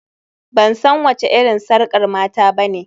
Ban san wace irin sakar mata ba ne